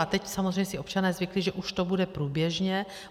A teď samozřejmě si občané zvykli, že už to bude průběžně.